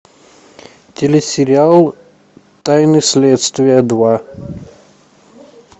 телесериал тайны следствия два